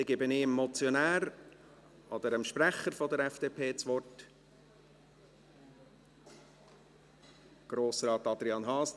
Der Motionär oder Sprecher der FDP hat das Wort, Grossrat Adrian Haas.